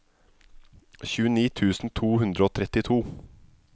tjueni tusen to hundre og trettito